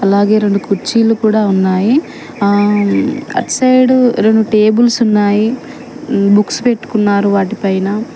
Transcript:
అలాగే రెండు కుర్చీలు కూడా ఉన్నాయి ఆ అటు సైడు రెండు టేబుల్స్ ఉన్నాయి బుక్స్ పెట్టుకున్నారు వాటిపైన.